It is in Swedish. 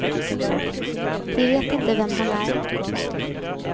De vet inte vem han är.